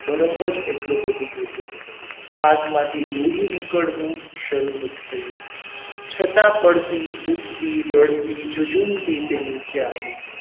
બરફ જ એટલો બધો હતો હાથમાંથી લોહી નીકળવું શરૂ થઈ ગયું છતાં પડતી ઉઠતી રડતી જજુમતી તે નીચે આવી.